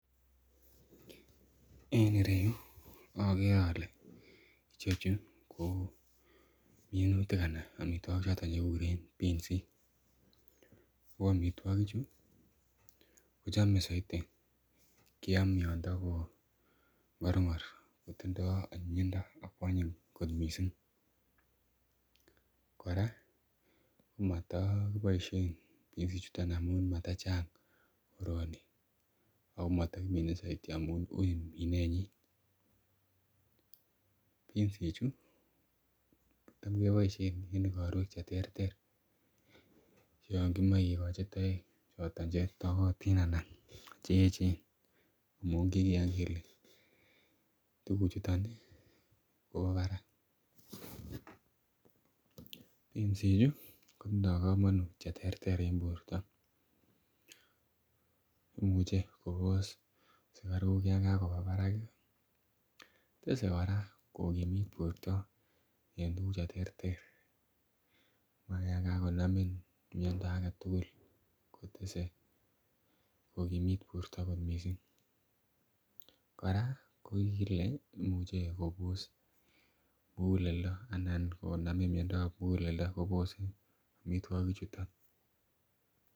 en ireyuu ogere ole chechu kominuti anan ko choton chegiguree biskiik ooh omitwogik chu kochome soiti kyaam yaan tagoo ngorngor kotindoo onyinyindo akkwonyiny kot mising koraa komotoo kiboishen biskiik chuton omun matachang rwoniik, ago motogimine soitin omuun uui mineet nyin, piskiik chu kotom keboishen en igorweek cheterter yon kimoee kigochi toek choton chetogotin anaan cheechen omuun kigiyaan kele tuguuk chuton iih ko garan, piskiik chu kotindoo komonut cheterter en borto imuche kobos sugaruk en yoon kagoba barak iih tese koraa kogimiit borto en tuguk cheterter mara yaan kagonamin mhyondo agetugul kotese kogimit borto kot mising, koraa kogigile imuche kobos muguleldo anan koganamin myondoo ab muguleldo kobose omitwogik chuton